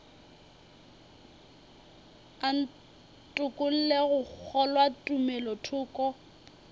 a ntokolle go kgolwa tumelothoko